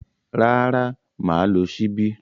Rárá, mà á lo ṣíbí.